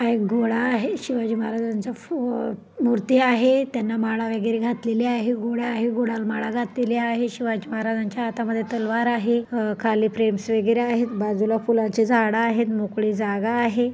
हा एक घोडा आहे शिवाजी महाराजांचा फो मूर्ति आहे त्यांना माळा वगैरे घातलेली आहे घोडा आहे घोडाला माळा घातलेली आहे शिवाजी महाराज्यांच्या हातामध्ये तलवार आहे अ खाली फ्रेंम्स वगैरे आहेत बाजूला फुलांचे झाड आहेत मोकळी जागा आहे.